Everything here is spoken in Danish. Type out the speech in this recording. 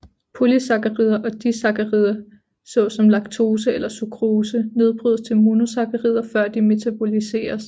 Polysakkarider og disakkarider såsom laktose eller sukrose nedbrydes til monosakkarider før de metaboliseres